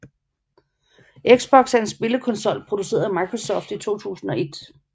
Xbox er en spillekonsol produceret af Microsoft i 2001